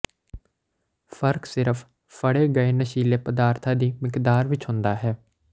ਫਰਕ ਸਿਰਫ ਫੜੇ ਗਏ ਨਸ਼ੀਲੇ ਪਦਾਰਥਾਂ ਦੀ ਮਿਕਦਾਰ ਵਿਚ ਹੁੰਦਾ ਹੈ